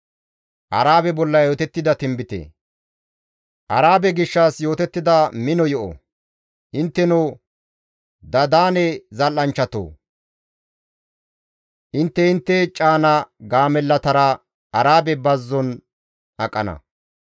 Arabe gishshas yootettida mino yo7o; Intteno Dadaane zal7anchchatoo! intte intte caana gaamellatara Arabe bazzon aqana.